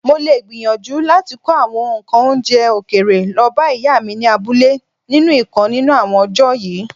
Molè gbìyànjú láti kó àwọn ǹkan oúnjẹ òkèèrè lọbá Ìyá mi ni abúlé nínú ìkan nínú àwọn ọjọ́ yìí.